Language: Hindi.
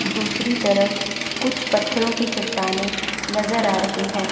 दूसरी तरफ कुछ पत्थरों की चट्टानें नजर आ रही है।